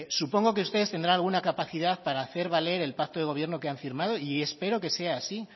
supongo que ustedes tendrán alguna capacidad para hacer valer el pacto de gobierno que han firmado y espero que sea así